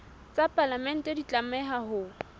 tsa palamente di tlameha ho